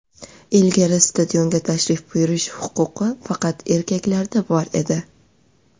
Ilgari stadionga tashrif buyurish huquqi faqat erkaklarda bor edi.